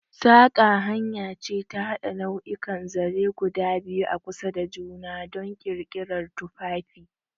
Saƙa hanya ce ta haɗa nau'ikan zaren guda biyu a kusa da juna don ƙirƙirar tufafi.